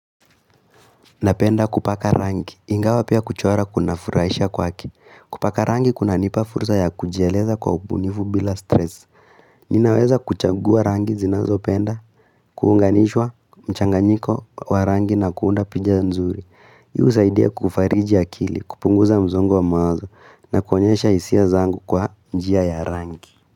Napenda kupaka rangi, ingawa pia kuchora kuna furahisha kwake. Kupaka rangi kunanipa fursa ya kujieleza kwa ubunifu bila stress. Ninaweza kuchagua rangi zinazopenda kuunganishwa mchanganyiko wa rangi na kuunda pinja nzuri. Husaidia kufariji akili, kupunguza msongo wa mawazo na kuonyesha hisia zangu kwa njia ya rangi.